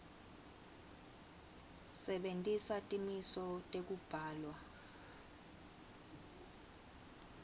sebentisa timiso tekubhalwa